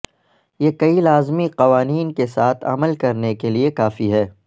یہ کئی لازمی قوانین کے ساتھ عمل کرنے کے لئے کافی ہے